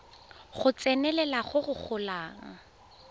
go tsenelela go go golang